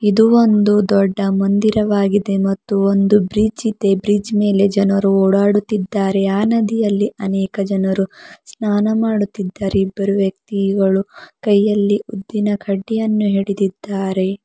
ಇದು ಒಂದು ದೊಡ್ಡ ಮಂದಿರವಾಗಿದೆ ಮತ್ತು ಒಂದು ಬ್ರಿಡ್ಜ್ ಇದೆ ಬ್ರಿಡ್ಜ್ ಮೇಲೆ ಜನರು ಓಡಾಡುತ್ತಿದ್ದಾರೆ ಆ ನದಿಯಲ್ಲಿ ಅನೇಕ ಜನರು ಸ್ನಾನ ಮಾಡುತ್ತಿದ್ದಾರೆ ಇಬ್ಬರು ವ್ಯಕ್ತಿಗಳು ಕೈಯಲ್ಲಿ ಊದಿನ ಕಡ್ಡಿಯನ್ನು ಹಿಡಿದಿದ್ದಾರೆ.